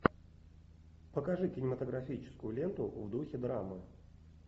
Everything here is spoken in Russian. покажи кинематографическую ленту в духе драмы